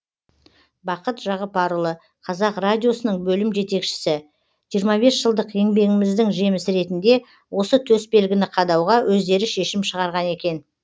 бақыт жағыпарұлы қазақ радиосының бөлім жетекшісі жиырма бес жылдық еңбегіміздің жемісі ретінде осы төсбелгіні қадауға өздері шешім шығарған екен